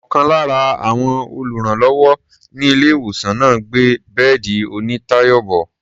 Ọ̀kan lára àwọn olùrànlọ́wọ́ ní ilé-ìwòsàn náà ń gbé bẹ́ẹ̀dì onítàyà bọ̀.